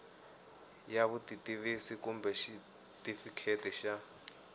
ya vutitivisi kumbe xitifiketi xa